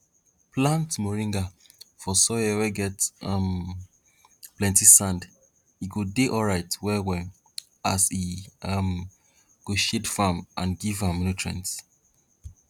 plant moringa for soil wey get um plenti sand e go dey alright well well as e um go shade farm and give am nutrients